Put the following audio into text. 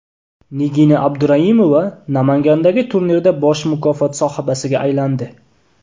Nigina Abduraimova Namangandagi turnirda bosh mukofot sohibasiga aylandi.